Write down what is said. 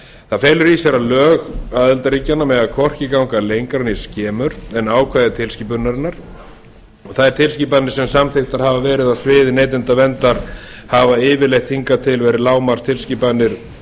það felur í sér að lög aðildarríkjanna mega hvorki ganga lengra né skemur en ákvæði tilskipunarinnar þær tilskipanir sem samþykktar hafa verið á sviði neytendaverndar hafa yfirleitt hingað til verið lágmarkstilskipanir